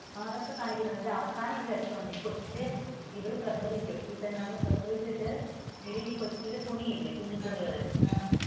അതൊക്കെ കാണിക്കുന്നുണ്ട് പക്ഷെ അവസാനം ഒരു രസമുണ്ട് ഈ കൊച്ചു ഇവൾ പ്രസവിച്ചു ഈ പെണ്ണ് പ്രസവിച്ചിട്ടു പിന്നെ ഈ കൊച്ചിന്റെ തുണിയില്ലേ കുഞ്ഞു തുണികൾ,